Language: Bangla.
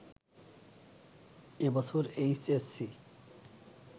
এ বছর এইচএসসি